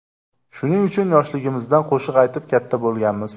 Shuning uchun, yoshligimizdan qo‘shiq aytib katta bo‘lganmiz.